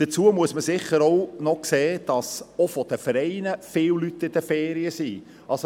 Dazu muss man sicher auch noch sehen, dass auch seitens der Vereine viele Leute in den Ferien sind.